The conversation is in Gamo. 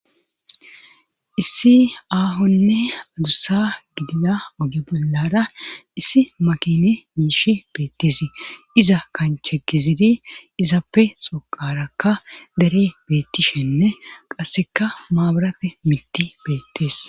Issi aahonne adussa gidida oge bollara issi makine yishshi beettisi iza kanchche gizidi izappe xoqarakka dere beettishenne qasseka maabarate miti beettees